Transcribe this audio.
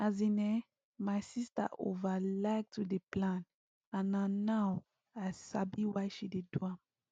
as in[um]my sister over like to dey plan and na now i sabi why she dey do am